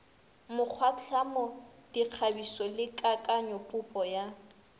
mokgwatlhamo dikgabišo le kakanyopopo ya